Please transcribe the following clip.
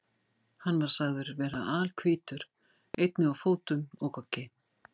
Hann var sagður vera alhvítur, einnig á fótum og goggi.